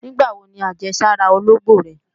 Nígbàwo ni àjẹsára ológbò rẹ?